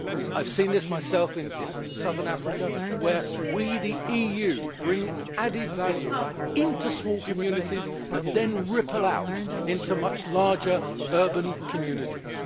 I have seen this myself in southern Africa where we, the EU, bring added value into small communities that then ripple out into much larger urban communities.